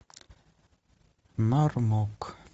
мармок